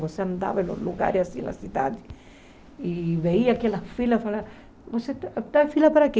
Você andava em lugares assim, na cidade, e via aquelas filas e falava, você está na fila para quê?